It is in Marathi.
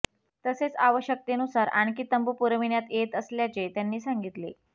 तसेच आवश्यकतेनुसार आणखी तंबू पुरविण्यात येत असल्याचे त्यांनी सांगितले